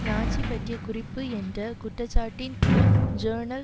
Nazi பற்றிய குறிப்பு என்ற குற்றச்சாட்டின் கீழ் ஜேர்னல்